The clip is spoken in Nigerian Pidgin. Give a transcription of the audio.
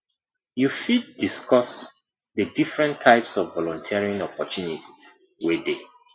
you fit discuss di different types of volunteering opportunities wey dey